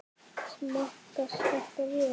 Smakkast þetta vel?